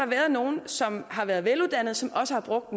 været nogle som har været veluddannede som også har brugt